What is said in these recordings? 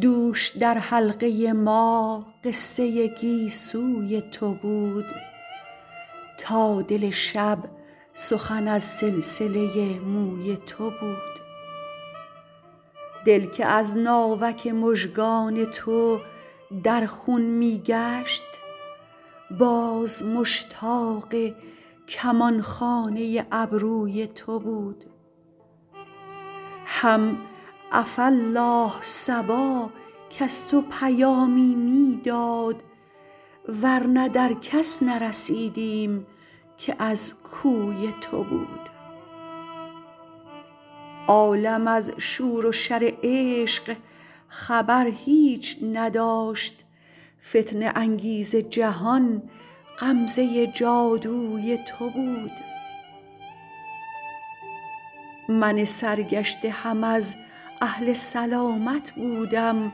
دوش در حلقه ما قصه گیسوی تو بود تا دل شب سخن از سلسله موی تو بود دل که از ناوک مژگان تو در خون می گشت باز مشتاق کمان خانه ابروی تو بود هم عفاالله صبا کز تو پیامی می داد ور نه در کس نرسیدیم که از کوی تو بود عالم از شور و شر عشق خبر هیچ نداشت فتنه انگیز جهان غمزه جادوی تو بود من سرگشته هم از اهل سلامت بودم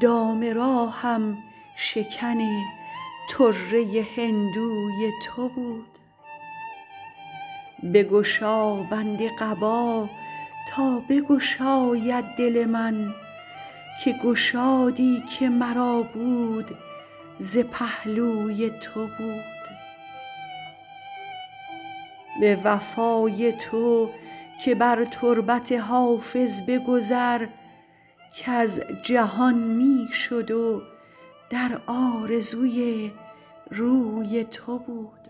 دام راهم شکن طره هندوی تو بود بگشا بند قبا تا بگشاید دل من که گشادی که مرا بود ز پهلوی تو بود به وفای تو که بر تربت حافظ بگذر کز جهان می شد و در آرزوی روی تو بود